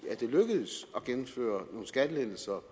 det lykkedes at gennemføre nogle skattelettelser